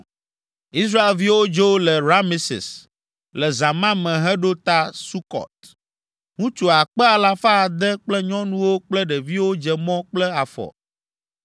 Israelviwo dzo le Rameses le zã ma me heɖo ta Sukɔt. Ŋutsu akpe alafa ade kple nyɔnuwo kple ɖeviwo dze mɔ kple afɔ.